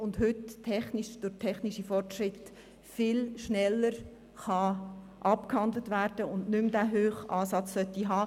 Heute kann er durch technische Fortschritte viel schneller abgehandelt werden und sollte nicht mehr den hohen Ansatz haben.